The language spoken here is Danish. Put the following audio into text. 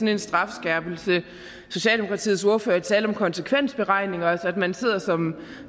en strafskærpelse er socialdemokratiets ordfører talte om konsekvensberegninger at man sidder som